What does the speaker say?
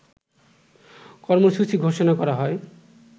কর্মসূচি ঘোষণা করা হয়